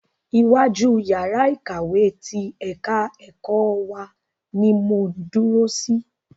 Iwájú yàrá ìkàwé ti ẹ̀ka ẹ̀kọ́ wa ni mò ń dúró sí.